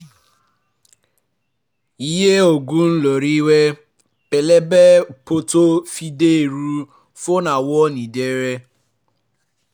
iye oògùn lórí ìwé pélébé pọ̀ tó fi di ẹrù fún àwọn ìdílé